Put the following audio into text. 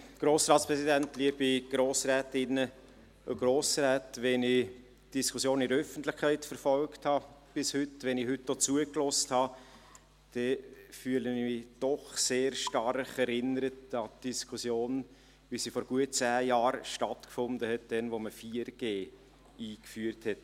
Wenn ich bis heute die Diskussion in der Öffentlichkeit verfolgt und auch heute zugehört habe, fühle ich mich doch sehr stark an die Diskussion erinnert, wie sie vor zehn Jahren stattfand, als man 4G einführte.